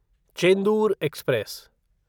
Chendur express